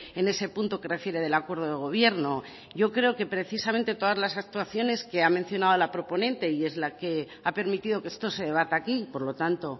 en ese punto que refiere del acuerdo de gobierno yo creo que precisamente todas las actuaciones que ha mencionado la proponente y es la que ha permitido que esto se debata aquí y por lo tanto